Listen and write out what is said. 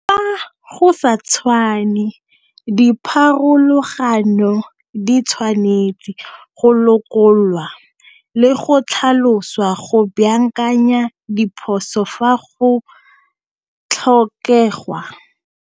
Fa go sa tshwane dipharologano di tshwanetse go lokololwa le go tlhaloswa go baakanya diphoso fa go tlhokegwa.